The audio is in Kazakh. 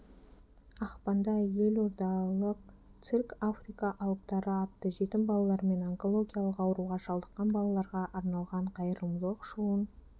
ақпанда елордалық цирк африка алыптары атты жетім балалар мен онкологиялық ауруға шалдыққан балаларға арналған қайырымдылық шоуын